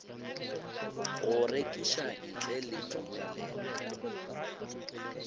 go rekiša ntle le tumelelo